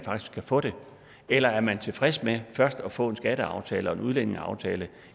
også kan få det eller er man tilfreds med først at få en skatteaftale og en udlændingeaftale